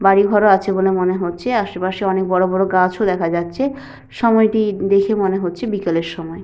বাড়িঘরও আছে বলে মনে হচ্ছে আসে পাশে অনেক বড় বড় গাছও দেখা যাচ্ছে সময়টি দেখে মনে হচ্ছে বিকালের সময়।